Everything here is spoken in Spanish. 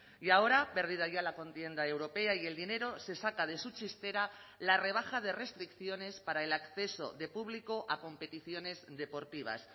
y ahora perdida ya la contienda europea y el dinero se saca de su chistera la rebaja de restricciones para el acceso de público a competiciones deportivas